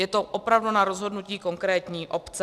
Je to opravdu na rozhodnutí konkrétní obce.